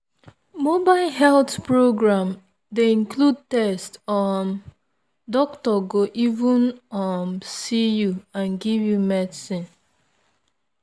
mobile health program dey include test um doctor go even um see you and give you medicine.